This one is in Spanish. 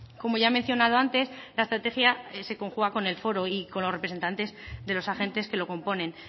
como ya he mencionado antes la estrategia se conjuga con el foro y con los representantes de los agentes que lo componen